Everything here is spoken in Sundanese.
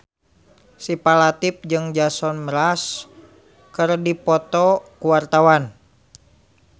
Syifa Latief jeung Jason Mraz keur dipoto ku wartawan